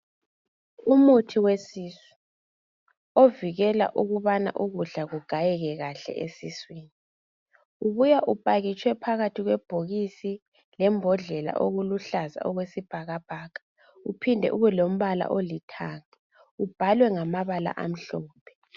Umuthi wesisu ovikela ukubana ukudla kugayeke kahle esiswini. Ubuya upakitshwe phakathi kwebhokisi lembodlela okuluhlaza okwesibhakabhaka uphinde ubelombala olithanga, ubhalwe ngamabala amhlophe.